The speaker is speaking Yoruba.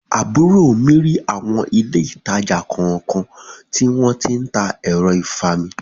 Àbúrò mi rí awọn ilé ìtàjà kọ̀ọ̀kan tí wón tí ń ta ẹ̀rọ ìfami.